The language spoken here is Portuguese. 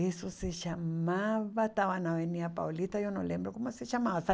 Isso se chamava... Estava na Avenida Paulista, eu não lembro como se chamava.